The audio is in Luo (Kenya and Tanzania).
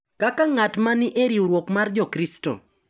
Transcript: Kaka ng’at ma ni e riwruok mar Jokristo.